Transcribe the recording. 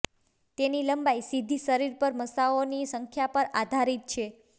તેની લંબાઈ સીધી શરીર પર મસાઓની સંખ્યા પર આધારિત છે